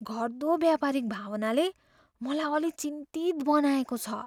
घट्दो व्यापारिक भावनाले मलाई अलि चिन्तित बनाएको छ।